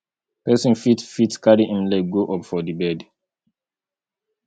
person fit fit carry im leg go up for di bed